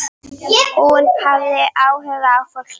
Hún hafði áhuga á fólki.